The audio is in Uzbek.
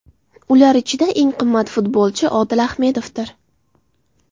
Ular ichida eng qimmat futbolchi Odil Ahmedovdir.